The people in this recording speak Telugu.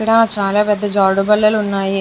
ఇక్కడ చాలా పెద్ధ జారుడు బల్లలు ఉన్నాయి.